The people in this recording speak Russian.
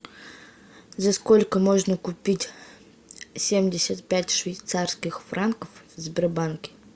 за сколько можно купить семьдесят пять швейцарских франков в сбербанке